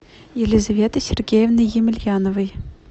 елизаветы сергеевны емельяновой